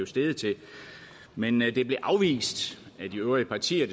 steget til men men det blev afvist af de øvrige partier